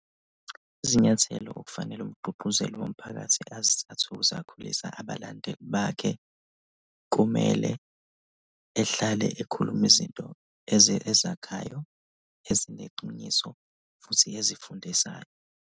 Izinyathelo okufanele umgqugquzeli womphakathi azithathe ukuze akhulise abalandeli bakhe, kumele ehlale ekhuluma izinto ezakhayo, ezineqiniso futhi ezifundisayo.